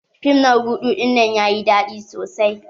Fim na rudu dinnan yayi daɗi sosai.